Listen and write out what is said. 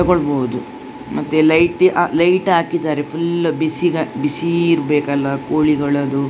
ತಗೊಳ್ಳಬಹುದು ಮತ್ತೆ ಲೈಟ್ ಆ ಲೈಟ್ ಹಾಕಿದ್ದಾರೆ ಫುಲ್ ಬಿಸಿ ಗ್ ಬಿಸಿ ಇರಬೇಕಲ್ಲ ಕೋಳಿಗಳದ್ದು.